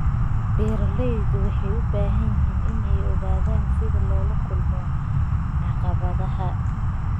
Beeralayda waxay u baahan yihiin inay ogaadaan sida loola kulmo caqabadaha.